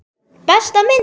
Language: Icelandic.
Besta myndin?